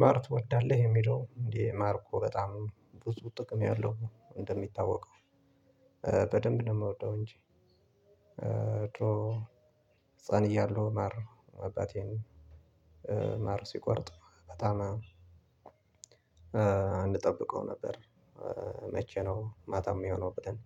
ማር ትወዳለህ የሚለው እንዴ? ማር እኮ በጣም ብዙ ጥቅም ያለው ነው እንደሚታወቀው በደንብ ነው እምወደው እንጂ። ህፃን እያልሁ ማር አባቴም ማር ሲቆርጥ በጣም እምጠብቀው ነበር። መቼ ነው ማታ የሚሆነው ብለን?